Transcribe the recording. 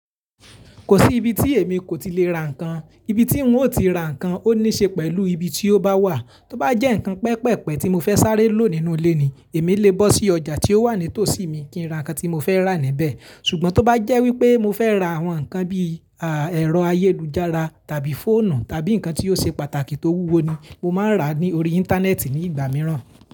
Kò sí ibi tí èmi kò ti lè ra nǹkan. Ibi tí óun ti ra nǹkan ó ní ṣe pẹ̀lú ibi tí ó bá wà. Tóbá jẹ́ ǹkan pẹpẹ̀pẹ̀ tí mo fẹ́ sáré lò nínú ilé ni, èmi lè bọ́ sí ọjà tí ó wà ní tòsí mi kí n ra ǹkan tí mo fẹ́ rà níbẹ̀. Ṣùgbọ́n tó bá jẹ́ wípé mo fẹ́ ra àwọn ǹkan bí i aa ẹ̀rọ ayélujára tàbí fóònù tàbí ǹkan tí ó ṣe pàtàkì tó wúwo ni, mo máa ń rà á ní orí Íńtánẹ́ẹ̀tì ní ìgbà mìíràn.